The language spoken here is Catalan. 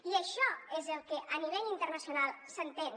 i això és el que a nivell internacional s’entén